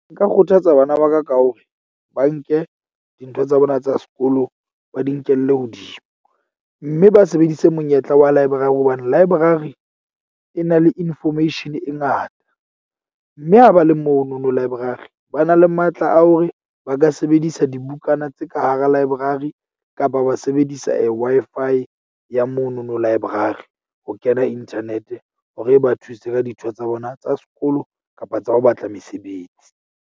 Nka kgothatsa bana ba ka ka hore ba nke dintho tsa bona tsa sekolo, ba di nkelle hodimo. Mme ba sebedise monyetla wa library hobane library e na le information e ngata. Mme ha ba le mono no library, ba na le matla a hore ba ka sebedisa dibukana tse ka hara library kapa ba sebedisa a Wi-Fi ya mono no library. Ho kena internet hore e ba thuse ka dintho tsa bona tsa sekolo kapa tsa ho batla mesebetsi.